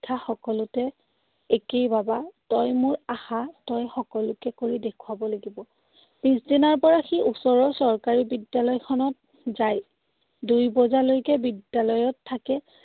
শিক্ষা সকলোতে একেই, বাবা। তই মোৰ আশা। তই সকলোকে কৰি দেখুৱাব লাগিব। পিছদিনাৰ পৰা সি ওচৰৰ চৰকাৰী বিদ্যালয়খনত যায়। দুই বজালৈকে বিদ্যালয়ত থাকে।